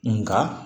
Nka